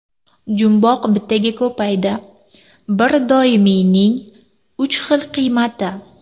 Jumboq bittaga ko‘paydi: bir doimiyning uch xil qiymati.